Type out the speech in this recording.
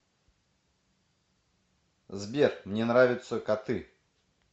сбер мне нравятся коты